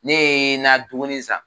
Ne ye n ka dumuni san